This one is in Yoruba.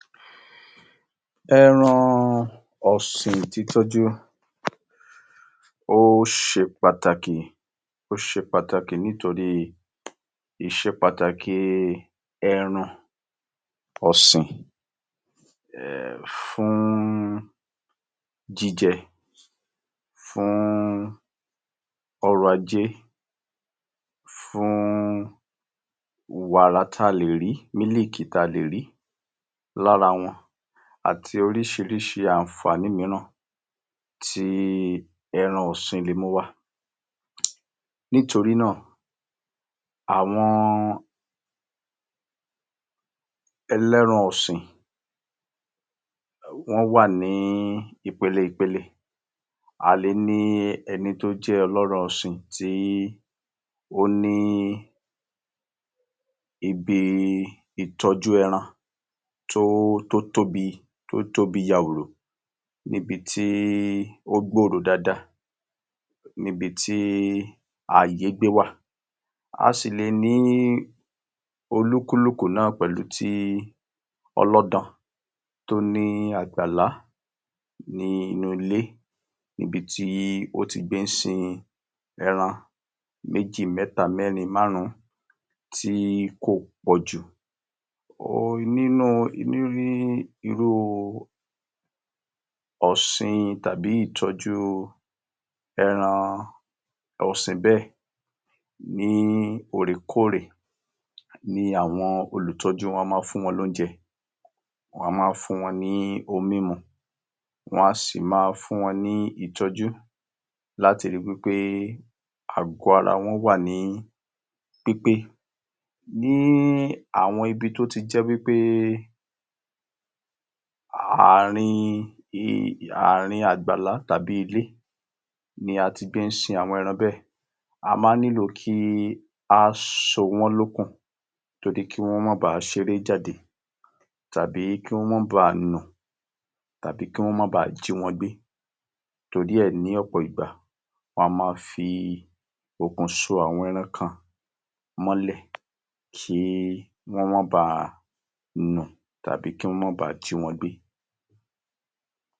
Ẹran ọ̀sìn títọ́jú, ó se pàtàkì, ó ṣe pàtàkì nítorí ìṣe pàtàkì ẹran ọ̀sìn um fún jíjẹ fún ọrọ̀-ajé, fún wàrà talè rí, mílíìkì tá le rí lára wọn àti oríṣiríṣi àǹfààní mìíràn tí ẹran ọ̀sìn le mú wá. Nítorí náà àwọn ẹlẹ́ran ọ̀sìn wọ́n wà ní ìpele ìpele. A le ní ẹni tó jẹ́ ọlọ́rọ̀ sìn tí ó ní ibi ìtọ́jú ẹran tó tótóbí tótóbí yawòrò nibití ó gbòòrò dáadáa nibití àyè gbé wà. A sì lè ní olúkúlùkù náà pẹ̀lú tí ọlọ́dan tó ní àgbàlá nínú ilé nibití ó ti gbé ń sin ẹran méjì, mẹ́ta, mẹ́rin, márùn-ún tí kò pọ̀jù. Nínú ní irú ọ̀sin tàbí ìtọ́jú ẹran ọ̀sìn bẹ́ẹ̀ ní òrèkóòrè ni àwọn olùtọ́jú wọn máa ń fún wọn lóúnjẹ. Wọ́n á máa fún wọn ní omímu, wọ́n a sì máa fún wọn ní ìtọ́jú láti ri wí pé àgọ ara wọn wà ní pípé. Ní àwọn ibi tó ti jẹ́ wí pé àrin àrin àgbàlá tàbí ilé ni a ti gbé ń sin àwọn ẹran bẹ́ẹ̀. A máa ń nílò kí á so wọ́n lókùn torí kí wọ́n máa ba ṣeré jáde tàbí kí wọ́n máa bá nù tàbí kí wọ́n máa bá jí wọn gbé. Torí ẹ̀, ní ọ̀pọ̀ ìgbà, wọ́n a máa fi okùn so àwọn ẹran kan mọ́lẹ̀ kí wọ́n máa ba nù tàbí kí wọ́n máa ba jí wọn gbé.